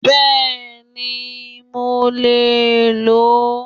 Bẹ́ẹ̀ni, mo lè ló